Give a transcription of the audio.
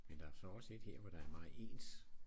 Men der er så også et her hvor der er meget ens